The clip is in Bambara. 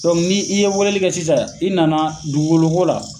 ni ye weleli kɛ sisan i nana dugukolo ko la